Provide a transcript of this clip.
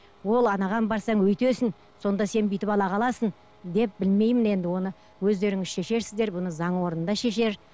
ол анаған барсаң өйтесің сонда сен бүйтіп ала қаласың деп білмеймін енді оны өздеріңіз шешерсіздер бұны заң орны да шешер